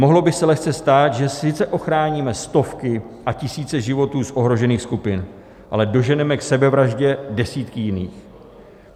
Mohlo by se lehce stát, že sice ochráníme stovky a tisíce životů z ohrožených skupin, ale doženeme k sebevraždě desítky jiných.